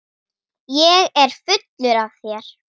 Ég er fullur af þér.